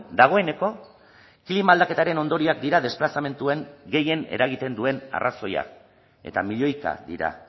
dagoeneko klima aldaketaren ondorioak dira desplazamenduen gehien eragiten duen arrazoia eta milioika dira